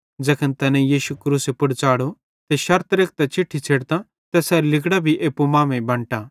ज़ैखन तैनेईं यीशु क्रूसे पुड़ च़ाढ़ो त शर्त रेखतां चिट्ठी छ़ेडतां तैसेरां लिगड़ां भी एप्पू मांमेइं बंटा